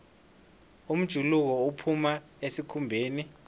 umjuluko uphuma esikhumbeni